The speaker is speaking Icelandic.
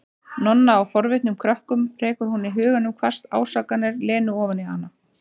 Nonna og forvitnum krökkunum, rekur hún í huganum hvasst ásakanir Lenu ofan í hana.